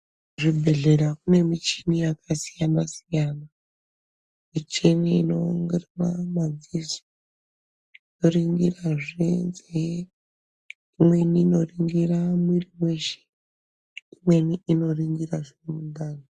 Kuzvibhedhleya kune michini yakasiyana siyana, michini inoringira madziso yoringirazve nzeye, imweni inoringira mwiri weshe imweni inoringira mundani.